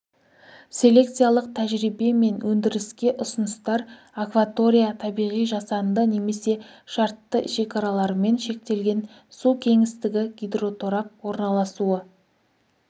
селекциялық тәжірибе мен өндіріске ұсыныстар акватория табиғи жасанды немесе шартты шекаралармен шектелген су кеңістігі гидроторап орналасуы